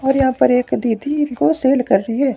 और यहां पर एक दीदी इनको सेल कर रही है।